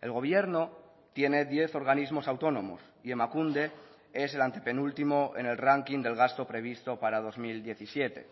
el gobierno tiene diez organismos autónomos y emakunde es el antepenúltimo en el ranking del gasto previsto para dos mil diecisiete